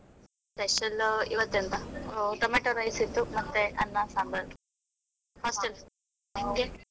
Special ಇವತ್ತು ಎಂತ tomato rice ಇತ್ತು, ಮತ್ತೆ ಅನ್ನ ಸಾಂಬಾರ್ hostels, ನಿಮಗೆ?